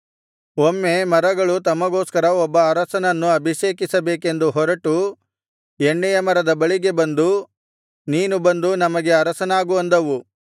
ಒಮ್ಮೆ ಮರಗಳು ತಮಗೋಸ್ಕರ ಒಬ್ಬ ಅರಸನನ್ನು ಅಭಿಷೇಕಿಸಬೇಕೆಂದು ಹೊರಟು ಎಣ್ಣೆಯ ಮರದ ಬಳಿಗೆ ಬಂದು ನೀನು ಬಂದು ನಮಗೆ ಅರಸನಾಗು ಅಂದವು